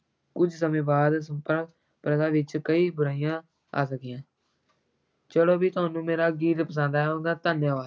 ਕੁਛ ਸਮੇਂ ਬਾਅਦ ਪ੍ਰਥਾ ਵਿੱਚ ਕਈ ਬੁਰਾਈਆਂ ਆ ਗਈਆਂ ਚਲੋ ਵੀ ਤੁਹਾਨੂੰ ਮੇਰਾ ਗੀਤ ਪਸੰਦ ਆਇਆ ਹੋਊਗਾ, ਧੰਨਵਾਦ।